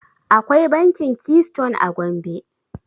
Akwai bankin Keystone a Gombe.